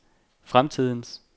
fremtidens